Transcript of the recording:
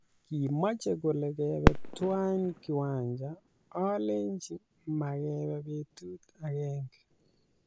Kimache kole kebe tuwai kiwanja ,olechi magebe betut agenge